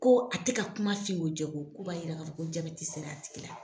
Ko a tɛ ka kuma fin ko jɛ ko, ko b'a yira k'a fɔ ko jaabɛti sera a tigi la.